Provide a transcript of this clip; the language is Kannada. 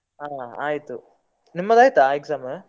ಹಾ ಆಯ್ತು, ನಿಮ್ಮದು ಆಯ್ತಾ exam ?